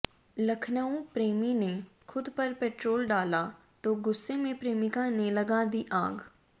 लखनऊः प्रेमी ने खुद पर पेट्रोल डाला तो गुस्से में प्रेमिका ने लगा दी आग